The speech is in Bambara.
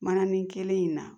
Mananin kelen in na